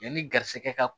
Yanni garisɛgɛ ka